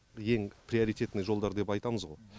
ең приоритетный жолдар деп айтамыз ғой